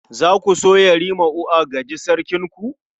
Za ku so Yarima ua gaji Sarkinku?